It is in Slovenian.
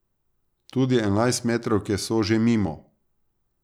Tudi enajstmetrovke so že mimo.